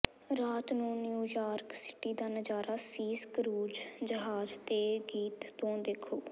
ਰਾਤ ਨੂੰ New York city ਦਾ ਨਜ਼ਾਰਾ ਸੀਸ ਕਰੂਜ਼ ਜਹਾਜ਼ ਦੇ ਗੀਤ ਤੋਂ ਦੇਖੋ